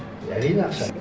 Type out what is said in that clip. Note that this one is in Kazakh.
әрине ақша